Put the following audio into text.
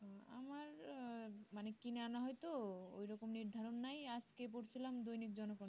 আমার আহ মানে কিনে আনা হয় তো ওই রকমের ধারণাই আজকে পড়ছিলাম দৈনিক জনতা